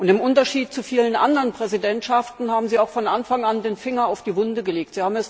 Im Unterschied zu vielen anderen Präsidentschaften haben Sie auch von Anfang an den Finger in die Wunde gelegt.